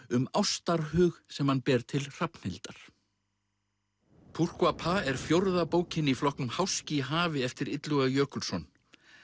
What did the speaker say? um ástarhug sem hann ber til Hrafnhildar pourquoi pas er fjórða bókin í flokknum háski í hafi eftir Illuga Jökulsson